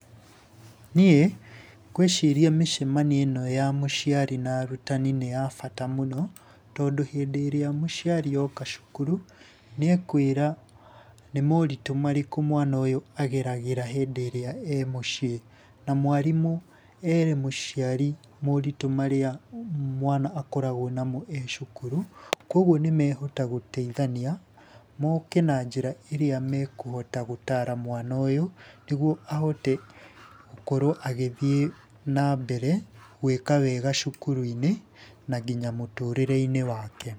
Niĩ ngwĩciria mĩcemanio ĩno ya mũciari na arutani nĩ ya bata mũno, tondũ hĩndĩ ĩrĩa mũciari oka cukuru nĩekwĩra nĩ moritũ marĩkũ mwana ũyũ ageragĩra hĩndĩ ĩrĩa e mũciĩ. Na mwarimũ ere mũciari moritũ marĩa mwana akoragwo namo e cukuru, koguo nĩmehota gũteithania, moke na njĩra ĩrĩa mekũhota gũtara mwana ũyũ, nĩguo ahote gũkorwo agĩthiĩ na mbere gwĩka wega cukuru-inĩ na nginya mũtũrĩre-inĩ wake.